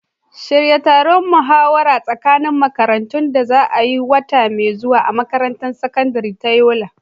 Shirya taron muhawara tsakanin makarantu da za a yi wata mai zuwa a makarantar sakandare ta Yobe.